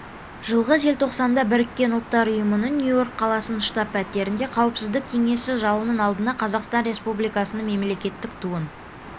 жылғы желтоқсанда біріккен ұлттар ұйымының нью-йорк қаласындағы штаб-пәтерінде қауіпсіздік кеңесі залының алдына қазақстан республикасының мемлекеттік туын